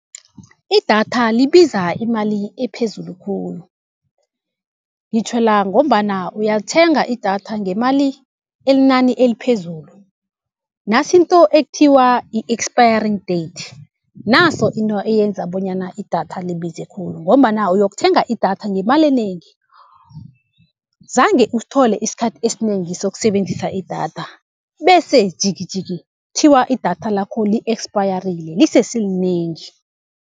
Idatha libiza imali ephezulu khulu, ngitjhwela ngombana uyalithenga idatha ngemali inani eliphezulu. Nasinto ekuthiwa yi-expiring date, naso into eyenza bonyana idatha libize khulu, ngombana uyokuthenga idatha ngemali enengi, zange usithole isikhathi esinengi sokusebenzisa idatha, bese jikijiki kuthiwa idatha lakho li-ekpayarile lisese linengi.